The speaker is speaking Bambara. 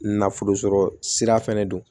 Nafolo sɔrɔ sira fɛnɛ don